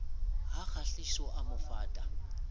ha kgahliso a mo fata